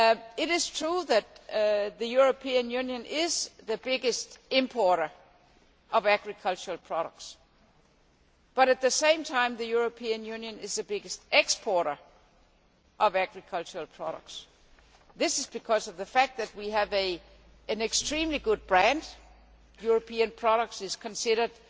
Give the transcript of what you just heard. It is true that the European Union is the biggest importer of agricultural products, but at the same time, the European Union is the biggest exporter of agricultural products. This is because of the fact that we have an extremely good brand European products are considered